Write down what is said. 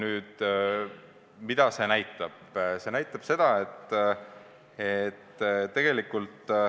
Mida see näitab?